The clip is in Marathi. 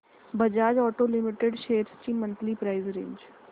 बजाज ऑटो लिमिटेड शेअर्स ची मंथली प्राइस रेंज